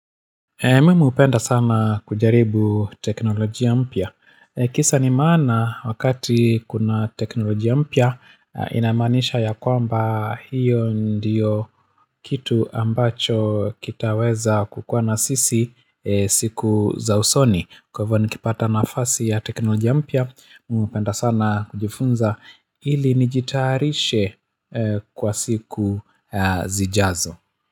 Mimi hupenda sana kujaribu teknolojia mpya. Kisa na maana wakati kuna teknolojia mpya, ina maanisha ya kwamba hiyo ndiyo kitu ambacho kitaweza kukua na sisi siku za usoni. Kwa hivyo nikipata nafasi ya teknolojia mpya, mimi hupenda sana kujifunza ili nijitayarishe kwa siku zijazo.